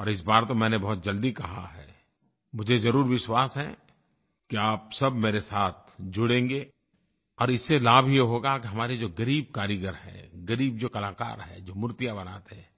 और इस बार तो मैंने बहुत जल्दी कहा है मुझे ज़रूर विश्वास है कि आप सब मेरे साथ जुड़ेंगे और इससे लाभ ये होगा कि हमारे जो ग़रीब कारीगर हैं ग़रीब जो कलाकार हैं जो मूर्तियाँ बनाते हैं